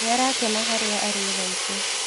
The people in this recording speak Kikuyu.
Nĩarakena harĩa arĩthaici.